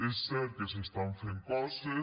és cert que s’estan fent coses